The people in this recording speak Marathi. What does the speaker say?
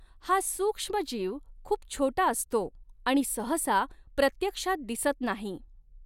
हा सूक्ष्मजीव खूप छोटा असतो आणि सहसा प्रत्यक्षात दिसत नाही.